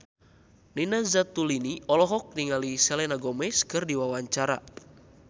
Nina Zatulini olohok ningali Selena Gomez keur diwawancara